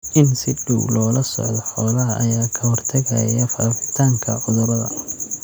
In si dhow loola socdo xoolaha ayaa ka hortagaya faafitaanka cudurrada.